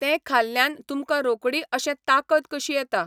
तें खाल्ल्यान तुमकां रोखडी अशें ताकत कशी येता.